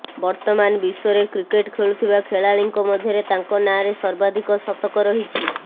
ବର୍ତ୍ତମାନ ବିଶ୍ୱରେ କ୍ରିକେଟ୍ ଖେଳୁଥିବା ଖେଳାଳିଙ୍କ ମଧ୍ୟରେ ତାଙ୍କ ନାଁରେ ସର୍ବାଧିକ ଶତକ ରହିଛି